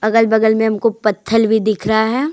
अगल-बगल में हमको पथल भी दिख रहा है।